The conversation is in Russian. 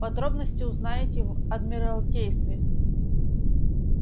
подробности узнаете в адмиралтействе